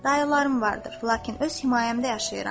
Dayılarım vardır, lakin öz himayəmdə yaşayıram.